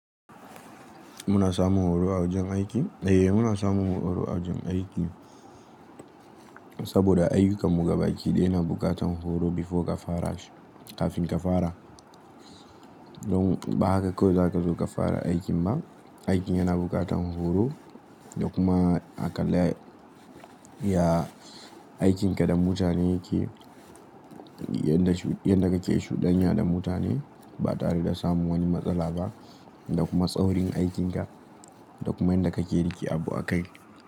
Muna samun horo a wajen aiki? Eh muna samun horo a wajen aiki saboda aiyukanmu ga baki daya na buƙatan horo before ka fara shi kafin ka fara. Don ba haka kawai zaka zo ka fara aikin ba, aikin yana buƙatan horo da kuma aƙalla ya aikinka da mutane yake yadda kake shuɗanya da mutane ba tare da samun wani matsala ba da kuma tsaurin aikinka da kuma yadda kake riƙe abu a kai.